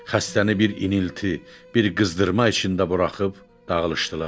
Xəstəni bir inilti, bir qızdırma içində buraxıb dağılışdılar.